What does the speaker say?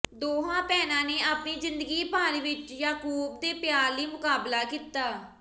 ਦੋਹਾਂ ਭੈਣਾਂ ਨੇ ਆਪਣੀ ਜ਼ਿੰਦਗੀ ਭਰ ਵਿਚ ਯਾਕੂਬ ਦੇ ਪਿਆਰ ਲਈ ਮੁਕਾਬਲਾ ਕੀਤਾ